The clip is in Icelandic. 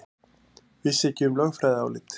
Vissi ekki um lögfræðiálit